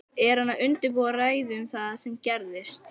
Er hann að undirbúa ræðu um það sem gerðist?